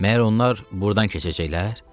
Məyər onlar burdan keçəcəklər?